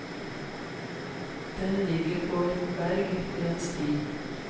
Den ligger på et berg ved en sti.